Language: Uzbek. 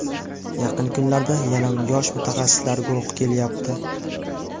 Yaqin kunlarda yana yosh mutaxassislar guruhi kelyapti.